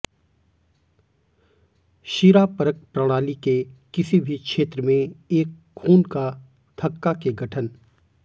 शिरापरक प्रणाली के किसी भी क्षेत्र में एक खून का थक्का के गठन